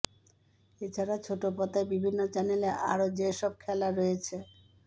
এছাড়া ছোটপর্দায় বিভিন্ন চ্যানলে আরও যে সব খেলা রয়েছে